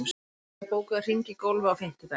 Atalía, bókaðu hring í golf á fimmtudaginn.